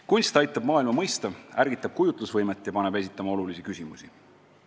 Kunst aitab maailma mõista, ärgitab kujutlusvõimet ja paneb esitama olulisi küsimusi.